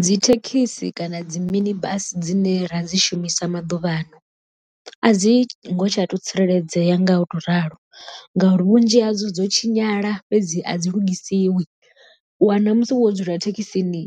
Dzi thekhisi kana dzi mini bus dzine ra dzi shumisa maḓuvhano a dzi ngo tsha to tsireledzea nga u to ralo, ngauri vhunzhi hadzo dzo tshinyala fhedzi a dzi lugisiwi u wana musi wo dzula thekhisini